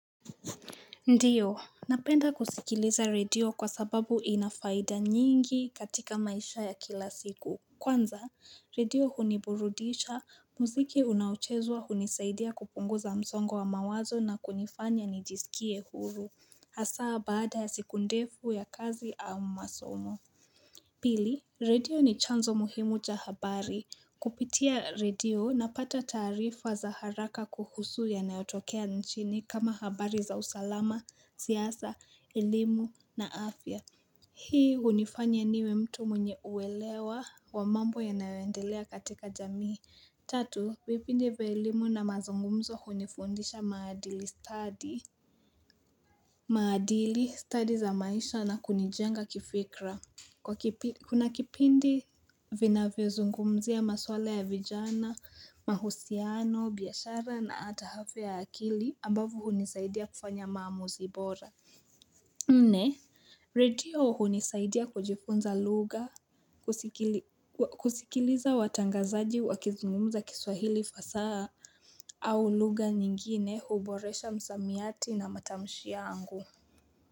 Ndio. Napenda kusikiliza radio kwa sababu inafaida nyingi katika maisha ya kila siku. Kwanza, radio huniburudisha. Muziki unaochezwa hunisaidia kupunguza msongo wa mawazo na kunifanya nijisikie huru. Hasaa baada ya sikundefu ya kazi au masomo. Pili, radio ni chanzo muhimu cha habari. Kupitia radio na pata taarifa za haraka kuhusu yanayotokea nchini kama habari za usalama, siasa, elimu na afya. Hii hunifanya niwe mtu mwenye uelewa wa mambo ya nayoendelea katika jamii. Tatu, vipindi vya elimu na mazungumzo hunifundisha maadili stadi maadili study za maisha na kunijenga kifikra. Kuna kipindi vinavyo zungumzia maswala ya vijana, mahusiano, biashara na hata afya ya akili ambavo hunisaidia kufanya maamuzi bora Nne, radio hunisaidia kujifunza lugha kusikiliza watangazaji wakizungumza kiswahili fasaha au lugha nyingine huboresha msamiati na matamshi yangu.